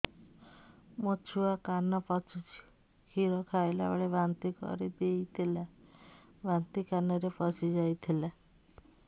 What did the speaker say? ମୋ ଛୁଆ କାନ ପଚୁଛି କ୍ଷୀର ଖାଇଲାବେଳେ ବାନ୍ତି କରି ଦେଇଥିଲା ବାନ୍ତି କାନରେ ପଶିଯାଇ ଥିଲା